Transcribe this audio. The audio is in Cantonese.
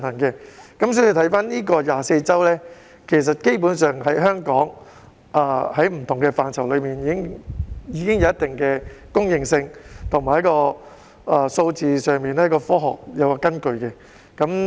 因此 ，24 周的界線，在香港不同範疇上，其實早已有一定公認性，在數字上也是有科學根據的。